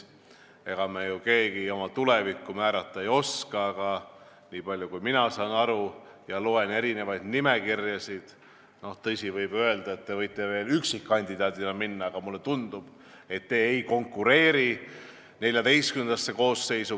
Ega me ju keegi oma tulevikku ette näha ei oska, aga mina olen lugenud erinevaid valimisnimekirjasid ning mulle tundub, et te ei konkureeri Riigikogu XIV koosseisu.